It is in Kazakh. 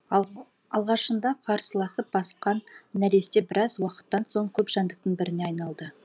ал алғашында қарсыласып басқан нәресте біраз уақыттан соң көп жәндіктің біріне айналды